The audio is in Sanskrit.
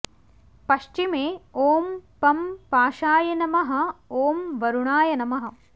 पश्चिमे ॐ पं पाशाय नमः ॐ वरुणाय नमः